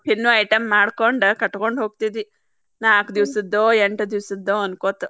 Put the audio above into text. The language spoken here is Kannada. ತಿನ್ನುವ item ಮಾಡ್ಕೊಂಡ್ ಕಟ್ಕೊಂಡ ಹೋಗ್ತಿದ್ವಿ. ನಾಕ್ ದಿವಸದ್ದೋ ಎಂಟ್ ದಿವಸದ್ದೋ ಅನ್ಕೋತ.